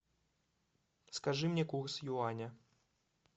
скажи мне курс юаня